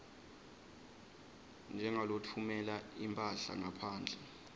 njengalotfumela imphahla ngaphandle